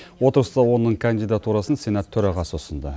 отырыста оның кандидатурасын сенат төрағасы ұсынды